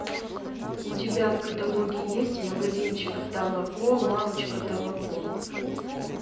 у тебя в каталоге есть магазинчик тамако лавочка тамако